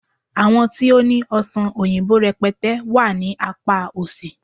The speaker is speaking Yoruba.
àwọn ti o ni ọsán oyinbo rẹpẹtẹ wà ní apá òsì